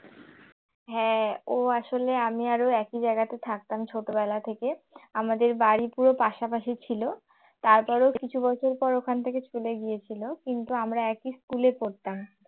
হ্যাঁ ও আসলে আমি আর ও একই জায়গাতে থাকতাম ছোটবেলা থেকে আমাদের বাড়ি পুরো পাশাপাশি ছিল তারপরও কিছু বছর পর ওখান থেকে চলে গিয়েছিল কিন্তু আমরা একই school এ পড়তাম